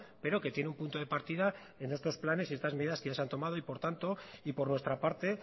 pero que tiene un punto de partida en estos planes y en estas medidas que ya se han tomado por tanto y por nuestra parte